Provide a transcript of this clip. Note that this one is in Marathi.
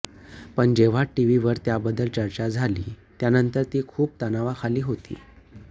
पण जेव्हा टीव्हीवर त्याबद्दल चर्चा झाली त्यानंतर ती खूप तणावाखाली होती